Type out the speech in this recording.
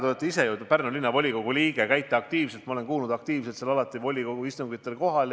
Te olete ju Pärnu Linnavolikogu liige ja ma olen kuulnud, et käite volikogu istungitel aktiivselt kohal.